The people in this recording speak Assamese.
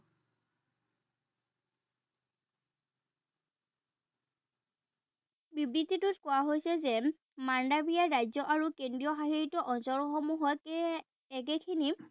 বিবৃতিটোত কোৱা হৈছে যে ৰাজ্য আৰু কেন্দ্ৰীয়শাসিত অঞ্চলসমূহত একেখিনি